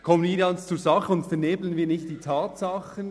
Kommen wir ganz zur Sache und vernebeln wir nicht die Tatsachen.